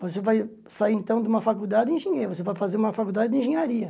Você vai sair então de uma faculdade engenheiro, você vai fazer uma faculdade de engenharia.